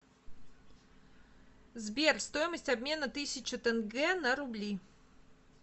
сбер стоимость обмена тысячу тенге на рубли